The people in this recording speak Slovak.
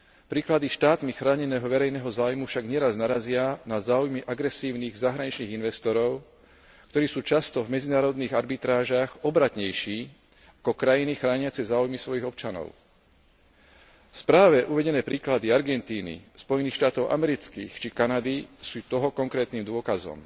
Príklady štátmi chráneného verejného záujmu však neraz narazia na záujmy agresívnych zahraničných investorov, ktorí sú často v medzinárodných arbitrážach obratnejší ako krajiny chrániace záujmy svojich občanov. V správe uvedené príklady Argentíny, Spojených štátov amerických či Kanady sú toho konkrétnym dôkazom.